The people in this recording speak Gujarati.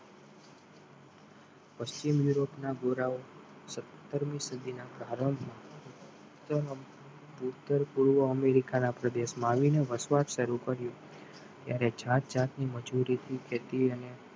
પશ્ચિમી ના ગોરાઓ સત્તરમી સદીના પૂર્વ અમેરિકાના પ્રદેશમાં આવીને વસવાટ શરૂ કર્યો ત્યારે જાતજાતની મજુરી થી ખેતી અને